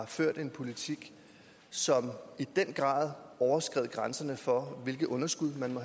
førte en politik som i den grad overskred grænserne for hvilket underskud man